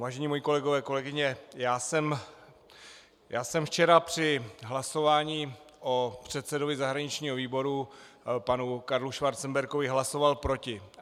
Vážení moji kolegové, kolegyně, já jsem včera při hlasování o předsedovi zahraničního výboru panu Karlu Schwarzenbergovi hlasoval proti.